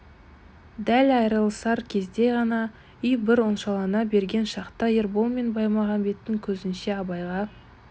дәл айрылысар кезде ғана үй бір оңашалана берген шақта ербол мен баймағамбеттің көзінше абайға